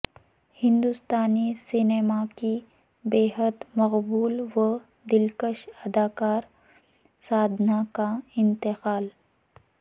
ہندوستانی سینما کی بےحد مقبول و دلکش اداکارہ سادھنا کا انتقال